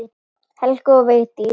Helga og Vigdís.